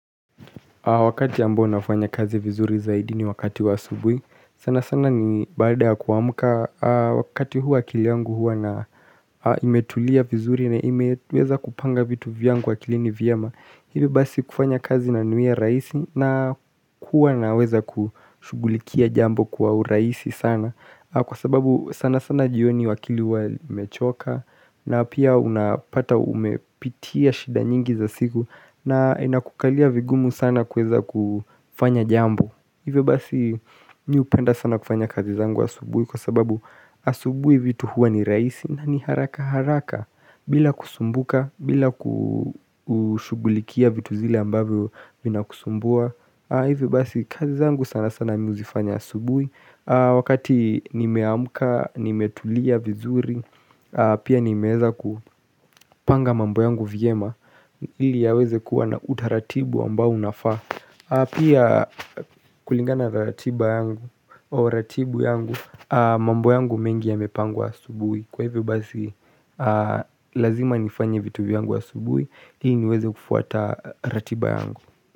Wakati ambo nafanya kazi vizuri zaidi ni wakati wa asubuhi, sana sana ni baada ya kuamuka, wakati huu akili yangu huwa ina imetulia vizuri na imeweza kupanga vitu vyangu akilini vyema, hivi basi kufanya kazi inaniwia rajisi na kuwa naweza kushughulikia jambo kwa urahisi sana. Kwa sababu sana sana jioni akili huwa imechoka. Na pia unapata umepitia shida nyingi za siku. Na inakukalia vigumu sana kweza kufanya jambo. Hivyo basi mimi hupenda sana kufanya kazi zangu asubuhi kwa sababu asubuhi vitu huwa ni raisi na ni haraka haraka. Bila kusumbuka, bila kushughulikia vitu zile ambavyo vina kusumbua. Hivyo basi kazi zangu sana sana mimi huzifanya asubuhi Wakati nimeamuka, nimetulia vizuri Pia nimeweza kupanga mambo yangu vyema ili yaweze kuwa na utaratibu ambao unafaa. Pia kulingana ratiba yangu au ratibu yangu. Mambo yangu mengi yamepangwa asubuhi kwa hivyo basi Lazima nifanye vitu viyangu asubuhi ili niweze kufuata ratiba yangu.